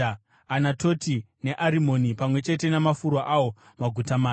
Anatoti, neArimoni, pamwe chete namafuro awo, maguta mana.